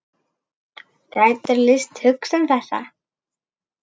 Gætirðu lýst hugsun þessa?